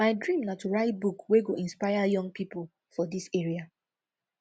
my dream na to write book wey go inspire young pipo for dis area